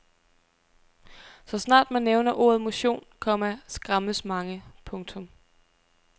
Så snart man nævner ordet motion, komma skræmmes mange. punktum